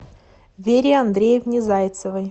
вере андреевне зайцевой